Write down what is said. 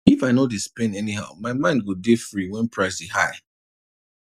if i no dey spend anyhow my mind go dey free when price dey high